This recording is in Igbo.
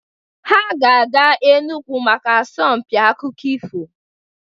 Ha ga-aga Enugwu echi maka asọmpi akụkọ ifo.